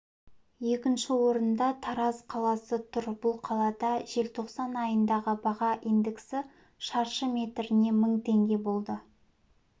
екінші орында тараз қаласы тұр бұл қалада желтоқсан айындағы баға индексі шаршы метріне мың теңге болды